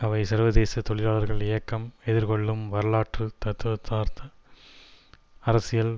அவை சர்வதேச தொழிலாளர் இயக்கம் எதிர்கொள்ளும் வரலாற்று தத்துவதார்த்த அரசியல்